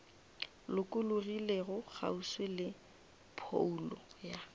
lokologilego kgauswi le phoulo ya